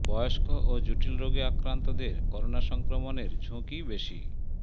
বয়স্ক ও জটিল রোগে আক্রান্তদের করোনা সংক্রমণের ঝুঁকি বেশি